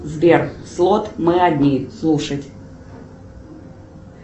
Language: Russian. сбер слот мы одни слушать